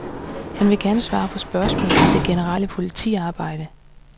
Han vil gerne svare på spørgsmål om det generelle politiarbejde.